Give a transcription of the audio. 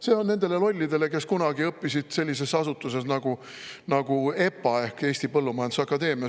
See on nendele lollidele, kes kunagi õppisid sellises asutuses nagu EPA ehk Eesti Põllumajanduse Akadeemia.